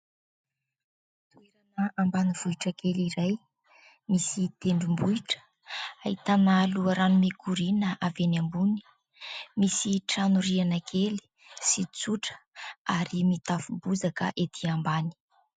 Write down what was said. Ambanivohitra kely iray misy tendrom-bohitra ahitana loharano mikoriana avy eny ambony, misy trano rihana kely sy tsotra ary mitafo bozaka ety ambany.